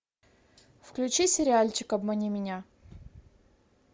включи сериальчик обмани меня